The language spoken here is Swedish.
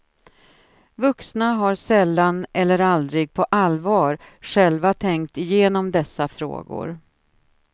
Vuxna har sällan eller aldrig på allvar själva tänkt igenom dessa frågor.